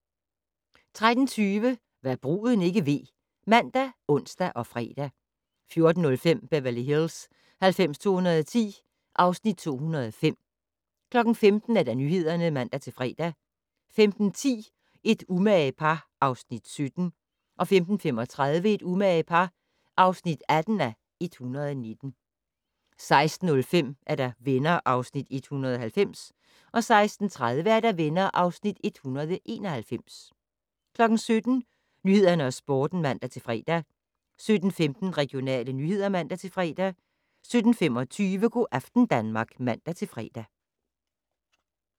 13:20: Hva' bruden ikke ved ( man, ons, fre) 14:05: Beverly Hills 90210 (Afs. 205) 15:00: Nyhederne (man-fre) 15:10: Et umage par (Afs. 17) 15:35: Et umage par (18:119) 16:05: Venner (Afs. 190) 16:30: Venner (Afs. 191) 17:00: Nyhederne og Sporten (man-fre) 17:15: Regionale nyheder (man-fre) 17:25: Go' aften Danmark (man-fre)